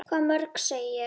Hvað mörg, segi ég.